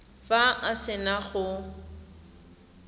fa a se na go